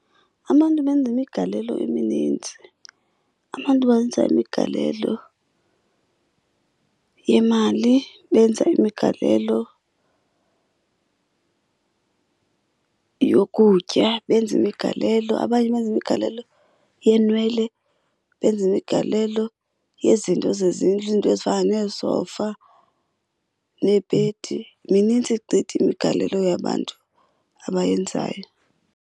Abantu benza imigalelo eminintsi. Abantu benza imigalelo yemali, benza imigalelo yokutya, benza imigalelo. Abanye benza imigalelo yeenwele, benza imigalelo yezinto zezindlu izinto ezifana neesofa neebhedi. Minintsi gqithi imigalelo yabantu abayenzayo.